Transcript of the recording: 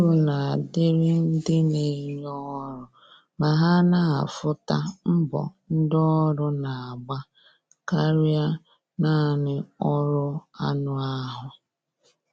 Uru na adịrị ndị na enye ọrụ ma ha na afụ ta mbọ ndi ọrụ na agba karịa naanị ọrụ anụ ahụ